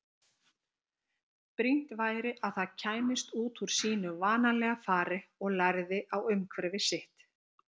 Brýnt væri að það kæmist út úr sínu vanalega fari og lærði á umhverfi sitt.